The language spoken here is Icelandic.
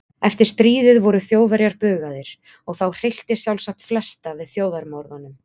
Eftir stríðið voru Þjóðverjar bugaðir og þá hryllti sjálfsagt flesta við þjóðarmorðunum.